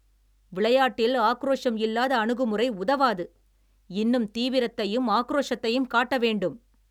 விளையாட்டில் ஆக்ரோஷம் இல்லாத அணுகுமுறை உதவாது. இன்னும் தீவிரதையும், ஆக்ரோஷத்தையும் காட்ட வேண்டும்